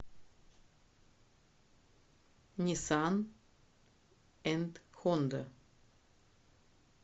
ниссан энд хонда